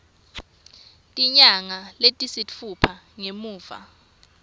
tinyanga letisitfupha ngemuva